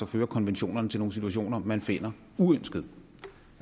fører konventionerne til nogle situationer man finder uønskede